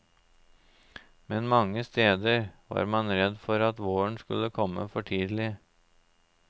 Men mange steder var man redd for at våren skulle komme for tidlig.